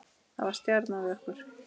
Það var stjanað við okkur.